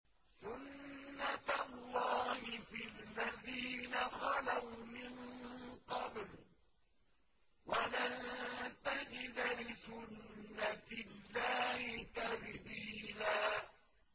سُنَّةَ اللَّهِ فِي الَّذِينَ خَلَوْا مِن قَبْلُ ۖ وَلَن تَجِدَ لِسُنَّةِ اللَّهِ تَبْدِيلًا